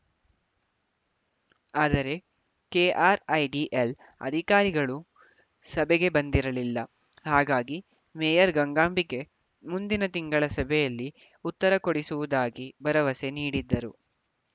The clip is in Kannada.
ಆದರೆ ಕೆಆರ್‌ಐಡಿಎಲ್‌ ಅಧಿಕಾರಿಗಳು ಸಭೆಗೆ ಬಂದಿರಲಿಲ್ಲ ಹಾಗಾಗಿ ಮೇಯರ್‌ ಗಂಗಾಂಬಿಕೆ ಮುಂದಿನ ತಿಂಗಳ ಸಭೆಯಲ್ಲಿ ಉತ್ತರ ಕೊಡಿಸುವುದಾಗಿ ಭರವಸೆ ನೀಡಿದ್ದರು